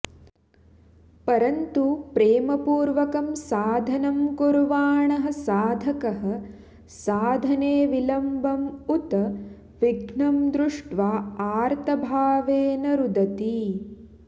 परन्तु प्रेमपूर्वकं साधनं कुर्वाणः साधकः साधने विलम्बम् उत विघ्नं दृष्ट्वा आर्तभावेन रुदति